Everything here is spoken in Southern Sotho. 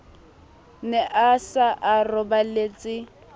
ne a se a roballetse